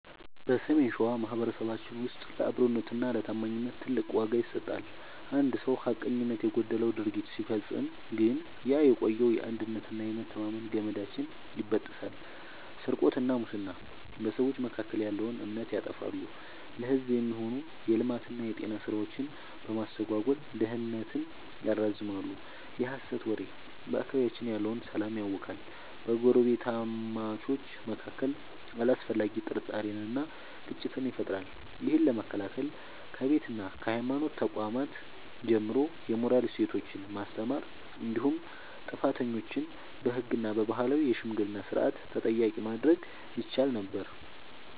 በሰሜን ሸዋ ማኅበረሰባችን ውስጥ ለአብሮነትና ለታማኝነት ትልቅ ዋጋ ይሰጣል። አንድ ሰው ሐቀኝነት የጎደለው ድርጊት ሲፈጽም ግን ያ የቆየው የአንድነትና የመተማመን ገመዳችን ይበጠሳል። ስርቆትና ሙስና፦ በሰዎች መካከል ያለውን እምነት ያጠፋሉ፤ ለሕዝብ የሚሆኑ የልማትና የጤና ሥራዎችን በማስተጓጎል ድህነትን ያራዝማሉ። የሐሰት ወሬ፦ በአካባቢያችን ያለውን ሰላም ያውካል፤ በጎረቤታማቾች መካከል አላስፈላጊ ጥርጣሬንና ግጭትን ይፈጥራል። ይህን ለመከላከል ከቤትና ከሃይማኖት ተቋማት ጀምሮ የሞራል እሴቶችን ማስተማር እንዲሁም ጥፋተኞችን በሕግና በባህላዊ የሽምግልና ሥርዓት ተጠያቂ ማድረግ ይቻል ነበር።